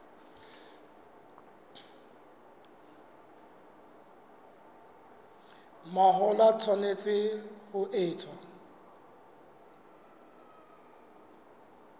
mahola e tshwanetse ho etswa